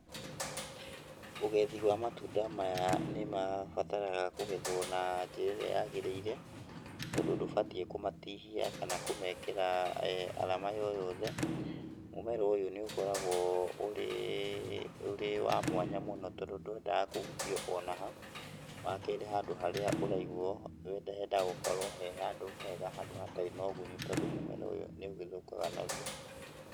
Ũgethi wa matunda maya nĩ mabataraga kũgethwo na njĩra ĩrĩa yagĩrĩire, tondũ ndũbatiĩ kũmatihia kana kũmekĩra arama yo yothe ,mũmera ũyũ nĩ ũkoragwo ũrĩ, ũrĩ wa mwanya mũno tondũ ndwendaga kũhutio ona ha, wa kerĩ handũ harĩa ũraigwo, nĩ hendaga gũkorwo harĩ handũ hega, handũ hatarĩ na ũgunyu tondũ mũmera ũyũ nĩ ũgĩthũkaga narua.